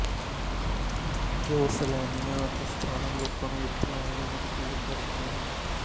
ਜੋ ਸੈਲਾਨੀਆਂ ਅਤੇ ਸਥਾਨਕ ਲੋਕਾਂ ਨੂੰ ਇਥੇ ਆਉਣ ਲਈ ਮਜ਼ਬੂਰ ਕਰਦੀ ਹੈ